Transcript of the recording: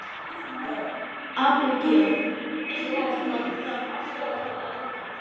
Abigael, einhvern tímann þarf allt að taka enda.